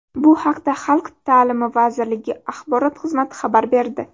Bu haqda Xalq ta’limi vazirligi axborot xizmati xabar berdi.